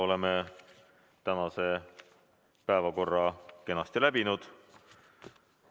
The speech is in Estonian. Oleme tänase päevakorra kenasti läbinud.